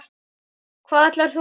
Hvað ætlar þú að gera?